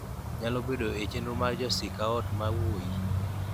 nyalo bedo e chenro mag Jo Sikaot ma wuoyi,